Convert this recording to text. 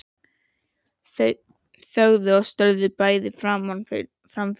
Þau þögðu og störðu bæði fram fyrir sig.